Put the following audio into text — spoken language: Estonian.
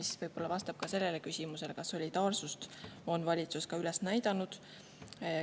See vastab võib-olla ka küsimusele, kas valitsus on solidaarsust üles näidanud.